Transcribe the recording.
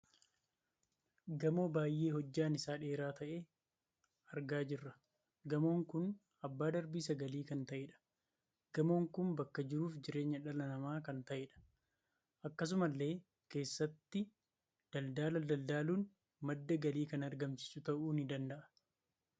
Gamoo baay'ee hojjaan isaa dheeraa tahe argaa jirra. Gamoon kun abbaa darbii sagalii kan taheedha. Gamoon kun bakka jiruuf jireenya dhala namaa kan taheedha. Akkasumallee keessatti daldala daldaluun madda galii kan argamsiisu tahu ni dandaha.